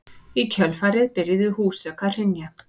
Í kjölfarið byrjuðu húsþök að hrynja